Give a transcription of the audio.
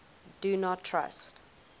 do not trust